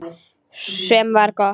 Sem var gott.